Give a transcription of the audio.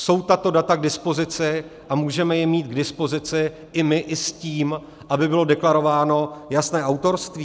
Jsou tato data k dispozici a můžeme je mít k dispozici i my i s tím, aby bylo deklarováno jasné autorství?